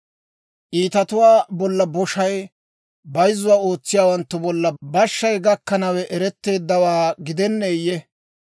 Iitatuwaa bolla boshay, bayzzuwaa ootsiyaawanttu bolla bashshay gakkanawe eretteeddawaa gidenneeyye?